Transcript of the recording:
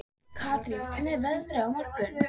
Katarína, hvernig er veðrið á morgun?